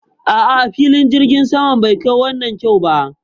A'a, filin jirgin saman bai kai wannan kyau ba